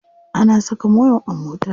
Ana saka mai a mota.